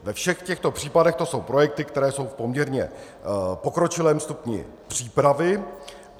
Ve všech těchto případech to jsou projekty, které jsou v poměrně pokročilém stupni přípravy.